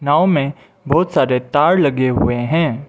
नाव मे बहुत सारे तार लगे हुए हैं।